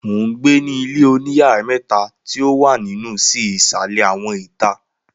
mo n gbe ni ilé oníyàrá mẹ̀ta ti o wa ninusi isalẹ awọn ita